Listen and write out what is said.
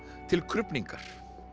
til krufningar